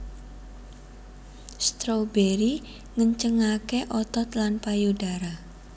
Strawberry ngencengaké otot lan payudara